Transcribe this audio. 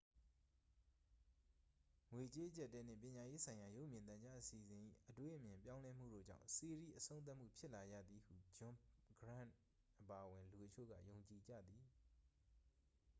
ငွေကြေးအကျပ်အတည်းနှင့် ပညာရေးဆိုင်ရာ ရုပ်မြင်သံကြား အစီအစဉ်၏ အတွေးအမြင် ပြောင်းလဲမှုတို့ကြောင့် စီးရီး အဆုံးသတ်မှုဖြစ်လာရသည်ဟု ဂျွန်ဂရန့်အပါအဝင် လူအချို့က ယုံကြည်ကြသည်